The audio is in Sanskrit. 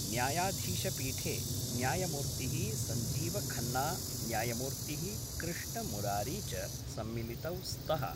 न्यायाधीशपीठे न्यायमूर्ति: संजीवखन्ना न्यायमूर्ति: कृष्णमुरारी च सम्मिलितौ स्त:।